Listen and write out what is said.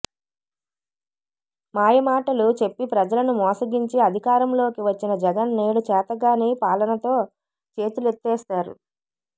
మాయ మాటలు చెప్పి ప్రజలను మోసగించి అధికారంలోకి వచ్చిన జగన్ నేడు చేతగాని పాలనతో చేతులెత్తేశారు